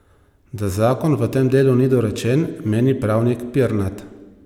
Da zakon v tem delu ni dorečen, meni pravnik Pirnat.